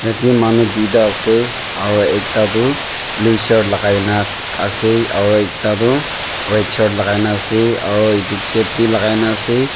Yetae manu tuita ase aro ekta tu blue shirt lakai na ase aro ekta toh red shirt lakai na ase aro edu cap bi lakai na ase.